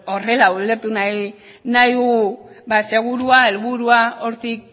edo horrela ulertu nahi dugu ba segurua helburua hortik